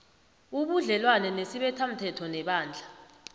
ubudlelwana nesibethamthetho nebandla